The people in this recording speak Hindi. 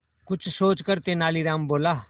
कुछ सोचकर तेनालीराम बोला